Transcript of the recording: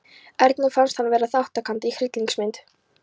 Erni fannst hann vera þátttakandi í hryllingsmynd.